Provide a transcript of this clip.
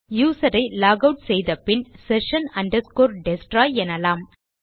user ஐ log out செய்த பின் session destroy எனலாம்